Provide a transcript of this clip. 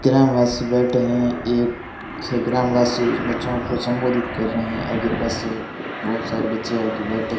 ग्रामवासी बैठे हैं एक ग्राम वासी बच्चों को संबोधित कर रहे हैं आगे बस है बहोत सारे बच्चे आगे बैठे--